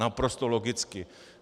Naprosto logicky.